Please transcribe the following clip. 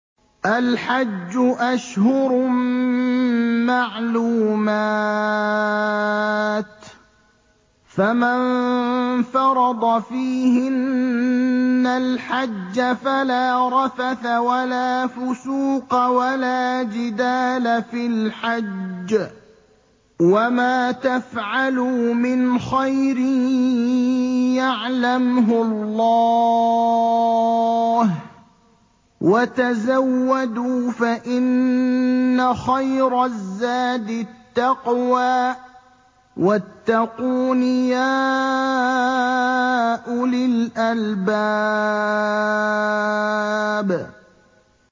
الْحَجُّ أَشْهُرٌ مَّعْلُومَاتٌ ۚ فَمَن فَرَضَ فِيهِنَّ الْحَجَّ فَلَا رَفَثَ وَلَا فُسُوقَ وَلَا جِدَالَ فِي الْحَجِّ ۗ وَمَا تَفْعَلُوا مِنْ خَيْرٍ يَعْلَمْهُ اللَّهُ ۗ وَتَزَوَّدُوا فَإِنَّ خَيْرَ الزَّادِ التَّقْوَىٰ ۚ وَاتَّقُونِ يَا أُولِي الْأَلْبَابِ